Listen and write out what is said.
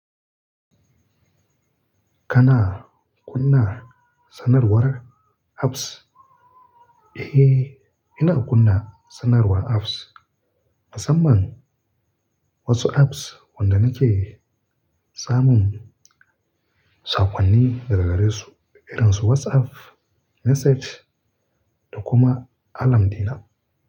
Kana kunna sanarwar apps? Eh, ina kunna sanarwar apps. Musamman wasu Apps waɗanda nake samun sakonni daga gare su irin su WhatsApp message da kuma alarm dina.